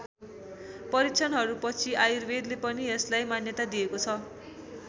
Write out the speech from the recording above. परीक्षणहरू पछि आयुर्वेदले पनि यसलाई मान्यता दिएको छ।